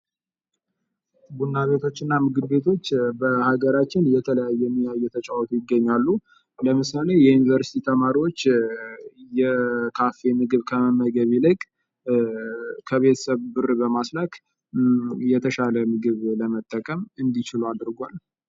ቡና ቤቶችና ምግብ ቤቶች በሀገራችን የተለያዩ ሚና እየተጫወቱ ይገኛሉ። ለምሳሌ የዩኒቨርሲቲ ተማሪዎች የካፌ ምግብ ከመመገብ ይልቅ ከቤተሰብ ብር በማስላክ የተሻለ ምግብ ለመጠቀም እንዲችሉ አድርጓል።